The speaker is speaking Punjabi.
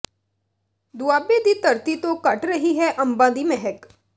ਦੁਆਬੇ ਦੀ ਧਰਤੀ ਤੋਂ ਘਟ ਰਹੀ ਹੈ ਅੰਬਾਂ ਦੀ ਮਹਿਕ